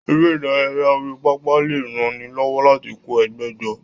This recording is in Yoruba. Eré ìdárayá orí pápá lè ran ni lọ́wọ́ láti kó ẹgbẹ́ jọ.